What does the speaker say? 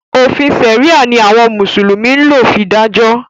Òfin sẹ̀ríà ni àwọn mùsùlùmí ń lò fi dájọ́.